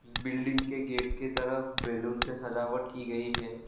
Building के gate के तरफ बैलून से सजावट की गई है।